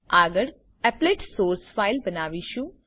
આગળ applet source file બનાવીશું